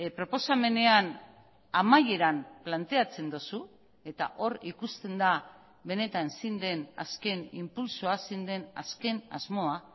proposamenean amaieran planteatzen duzu eta hor ikusten da benetan zein den azken inpultsoa zein den azken asmoa